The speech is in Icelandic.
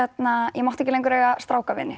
ég mátti ekki lengur eiga